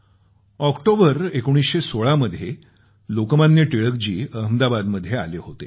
October 1916 मध्ये लोकमान्य टिळक जी अहमदाबादमध्ये आले होते